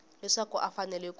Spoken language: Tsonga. leswaku a a fanele ku